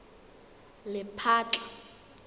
lephatla